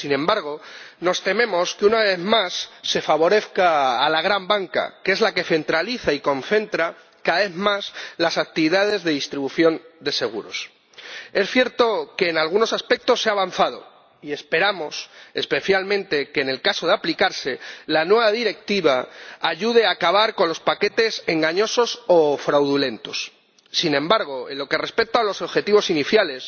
Sin embargo, nos tememos que una vez más se favorezca a la gran banca, que es la que centraliza y concentra, cada vez más, las actividades de distribución de seguros. Es cierto que en algunos aspectos se ha avanzado y esperamos especialmente que, en caso de aplicarse, la nueva Directiva ayude a acabar con los paquetes engañosos o fraudulentos. Sin embargo, en lo que respecta a los objetivos iniciales,